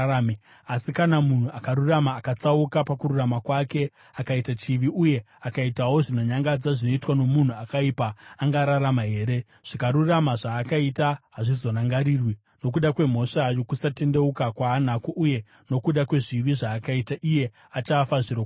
“Asi kana munhu akarurama akatsauka pakururama kwake akaita chivi uye akaitawo zvinonyangadza zvinoitwa nomunhu akaipa, angararama here? Zvakarurama zvaakaita hazvizorangarirwi. Nokuda kwemhosva yokusatendeuka kwaanako uye nokuda kwezvivi zvaakaita, iye achafa zvirokwazvo.